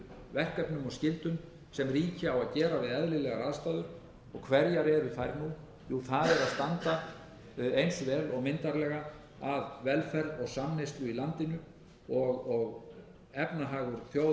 verkefnum og skyldum sem ríki á að gera við eðlilegar aðstæður og hverjar er þær nú jú það er að standa eins vel og myndarlega að velferð og samneyslu í landinu og efnahagur þjóðar leyfir á hverjum tíma það er að geta stuðlað